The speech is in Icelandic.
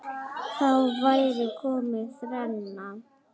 Þá væri komin þrenna.